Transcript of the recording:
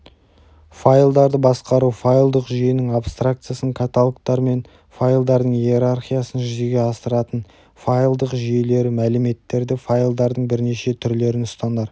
файлдарды басқару файлдық жүйенің абстракциясын каталогтар мен файлдардың иерархиясын жүзеге асыратын файлдық жүйелері мәліметтерді файлдардың бірнеше түрлерін ұстанар